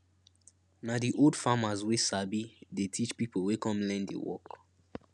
na di old farmers wey sabi dey teach pipo wey come learn di work